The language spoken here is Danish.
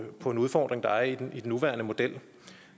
på en udfordring der er i den nuværende model